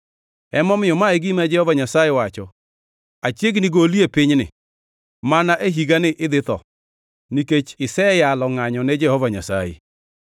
Emomiyo, ma e gima Jehova Nyasaye wacho: ‘Achiegni goli e pinyni. Mana e higani idhi tho, nikech iseyalo ngʼanyo ne Jehova Nyasaye.’ ”